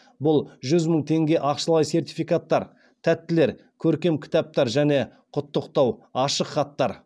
бұл жүз мың теңге ақшалай сертификаттар тәттілер көркем кітаптар және құттықтау ашық хаттары